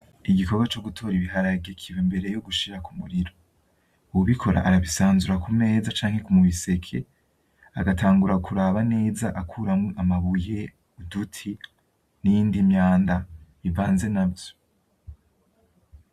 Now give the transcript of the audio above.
Igikorwa co gutora ibiharage kiba imbere yogushira kumuriro , uwubikora arabisanzura ku meza canke mu biseke , agatangura kuraba neza akuramwo amabuye, uduti n'iyindi myanda ivanze navyo.